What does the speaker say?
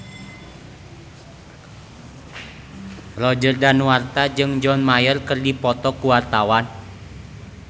Roger Danuarta jeung John Mayer keur dipoto ku wartawan